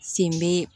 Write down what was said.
Sen bɛ